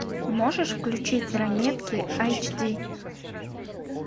можешь включить ранетки аш ди